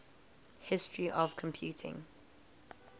history of computing